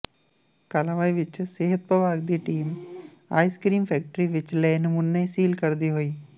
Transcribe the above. ਕਾਲਾਂਵਾਲੀ ਵਿਚ ਸਿਹਤ ਵਿਭਾਗ ਦੀ ਟੀਮ ਆਈਸ ਫੈਕਟਰੀ ਵਿਚ ਲਏ ਨਮੂਨੇ ਸੀਲ ਕਰਦੀ ਹੋਈ